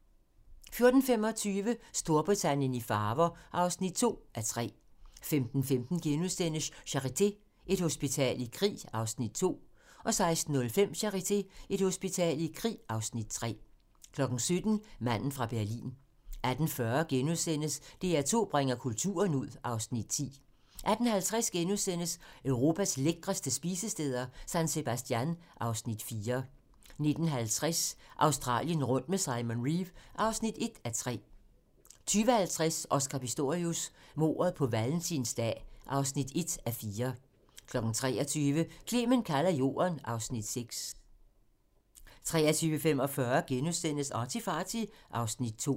14:25: Storbritannien i farver (2:3) 15:15: Charité - Et hospital i krig (Afs. 2)* 16:05: Charité - Et hospital i krig (Afs. 3) 17:00: Manden fra Berlin 18:40: DR2 bringer kulturen ud (Afs. 10)* 18:50: Europas lækreste spisesteder - San Sebastian (Afs. 4)* 19:50: Australien rundt med Simon Reeve (1:3) 20:50: Oscar Pistorius: Mordet på valentinsdag (1:4) 23:00: Clement kalder Jorden (Afs. 6) 23:45: ArtyFarty (Afs. 2)*